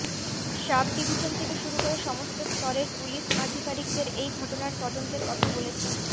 sub division থেকে শুরু করে সমস্ত স্তরের পুলিশ আধিকারিকদের এই ঘটনার তদন্তের কথা বলেছি